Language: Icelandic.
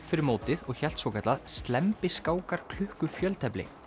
fyrir mótið og hélt svokallað slembi skákar klukku fjöltefli